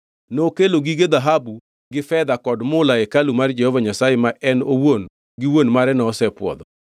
Nokelo gige dhahabu gi fedha kod mula e hekalu mar Jehova Nyasaye ma en owuon gi wuon mare nosepwodho.